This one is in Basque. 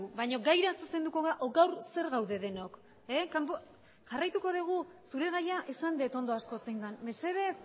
baina gaira zuzenduko gara edo gaur zer gaude denok zure gaia esan dut ondo asko zein den mesedez